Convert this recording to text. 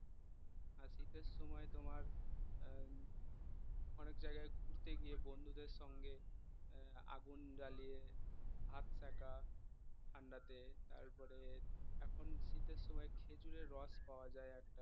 শীতের সময় তোমার আহ অনেক জায়গায় ঘুরতে গিয়ে বন্ধুদের সঙ্গে আহ আগুন জ্বালিয়ে হাত ছেকা ঠান্ডাতে তারপরে এখন শীতের সময় খেজুরের রস পাওয়া যায়